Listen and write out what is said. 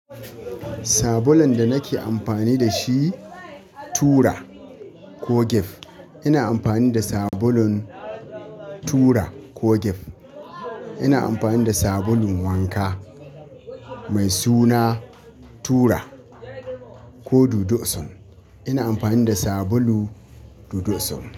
Sabulun da nake amfani da shi tura Koh Gef. Ina amfani da sabulun tura ko Gef. Ina amfani da sabulun wanka mai suna tura ko Dodo osun Ina amfani da sabulu Dodo sun.